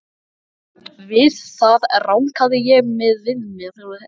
Við það rankaði ég við mér.